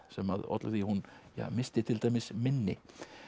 sem olli því að hún missti til dæmis minni